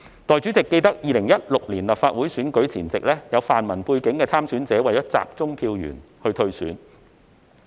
代理主席，記得2016年立法會選舉前夕，有泛民背景的參選者為了集中票源而退選。